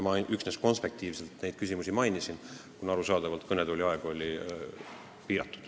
Ma mainisin neid samme üksnes konspektiivselt, kõnetoolis olemise aeg on ju piiratud.